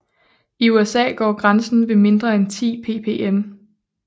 I USA går grænsen ved mindre end 10 ppm